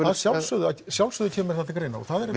sjálfsögðu að sjálfsögðu kemur það til greina og það er